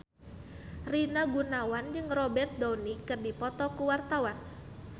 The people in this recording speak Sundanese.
Rina Gunawan jeung Robert Downey keur dipoto ku wartawan